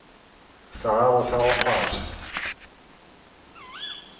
sa gago sa go kgwatha